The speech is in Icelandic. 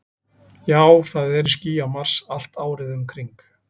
Já, það eru ský á Mars, allt árið um kring.